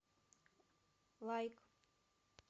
лайк